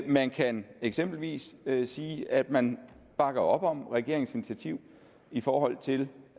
man kan eksempelvis sige at man bakker op om regeringens initiativ i forhold til